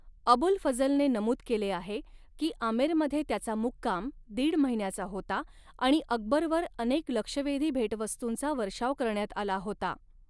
अबुल फझलने नमूद केले आहे की आमेरमध्ये त्याचा मुक्काम दीड महिन्याचा होता आणि अकबरवर अनेक लक्षवेधी भेटवस्तूंचा वर्षाव करण्यात आला होता.